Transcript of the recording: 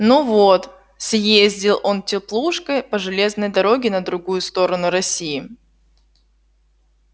ну вот съездил он теплушкой по железной дороге на другую сторону россии